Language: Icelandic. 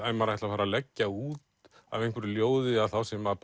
að ef maður ætlar að leggja út af einhverju ljóði að þá sé maður